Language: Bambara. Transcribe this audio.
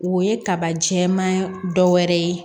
O ye kaba jɛman dɔ wɛrɛ ye